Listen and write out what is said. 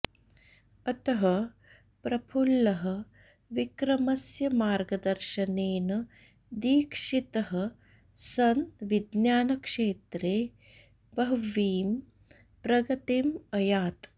अतः प्रफुल्लः विक्रमस्य मार्गदर्शनेन दीक्षितः सन् विज्ञानक्षेत्रे बह्वीं प्रगतिम् अयात्